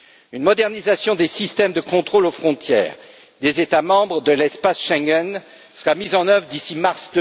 Une modernisation des systèmes de contrôle aux frontières des États membres de l'espace Schengen sera mise en œuvre d'ici mars